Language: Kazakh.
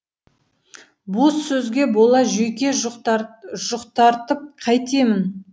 бос сөзге бола жүйке жұқтартып қайтемін